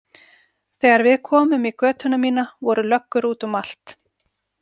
Þegar við komum í götuna mína voru löggur út um allt.